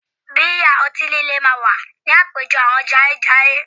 Bíà, ọtí líle máa wà ní àpéjọ àwọn jayéjayé